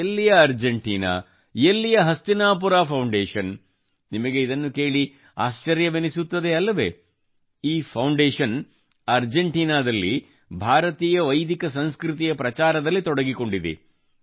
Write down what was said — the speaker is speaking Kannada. ಎಲ್ಲಿಯ ಅರ್ಜೆಂಟೀನಾ ಎಲ್ಲಿಯ ಹಸ್ತಿನಾಪುರ ಫೌಂಡೇಷನ್ ನಿಮಗೆ ಇದನ್ನು ಕೇಳಿ ಆಶ್ಚರ್ಯವೆನಿಸುತ್ತದೆ ಅಲ್ಲವೇ ಈ ಫೌಂಡೇಷನ್ ಅರ್ಜೆಂಟೀನಾದಲ್ಲಿ ಭಾರತೀಯ ವೈದಿಕ ಸಂಸ್ಕೃತಿಯ ಪ್ರಚಾರದಲ್ಲಿ ತೊಡಗಿಕೊಂಡಿದೆ